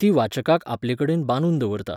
ती वाचकाक आपलेकडेन बांदून दवरता.